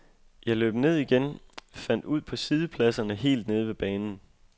Jeg løb ned igen, fandt ud på siddepladserne helt nede ved banen.